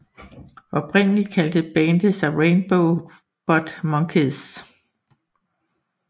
Oprindeligt kaldte bandet sig Rainbow Butt Monkeys